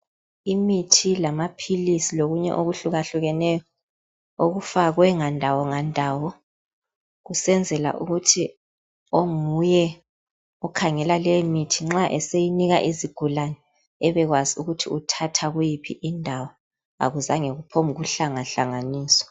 Imithi lamaphilisi lokunye okuhlukahlukeneyo okufakwe ngandawo ngandawo kusenzela ukuthi onguye okhangela lemithi nxa eseyinika izigulane bebekwazi ukuthi uthatha kuyiphi indawo akuzange kuphombukuhlangahlanganiswa.